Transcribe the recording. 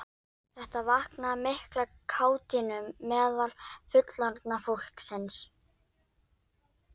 Þetta vakti mikla kátínu meðal fullorðna fólksins.